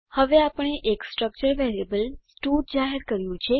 હવે આપણે એક સ્ટ્રક્ચર વેરિયેબલ સ્ટડ જાહેર કર્યું છે